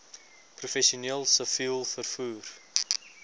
professioneel siviel vervoer